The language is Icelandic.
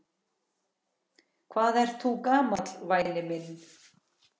Hvað ert þú gamall væni minn?